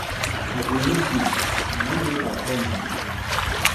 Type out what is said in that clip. I dey miss you na im make I come your house.